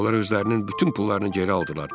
Onlar özlərinin bütün pullarını geri aldılar.